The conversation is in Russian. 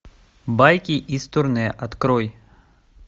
байки из турне открой